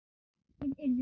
Við urðum síðan vinir.